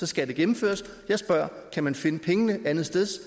skal det gennemføres jeg spørger kan man finde pengene andetsteds